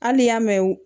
Hali n'i y'a mɛn